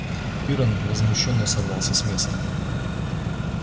пиренн возмущённо сорвался с места